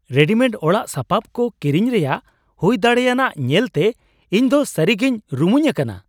Readymade ᱚᱲᱟᱜ ᱥᱟᱯᱷᱟᱵ ᱠᱚ ᱠᱤᱨᱤᱧ ᱨᱮᱭᱟᱜ ᱦᱩᱭ ᱫᱟᱲᱮᱭᱟᱱᱟᱜ ᱧᱮᱞᱛᱮ ᱤᱧ ᱫᱚ ᱥᱟᱹᱨᱤᱜᱮᱧ ᱨᱩᱢᱩᱧ ᱟᱱᱟᱱᱟ ᱾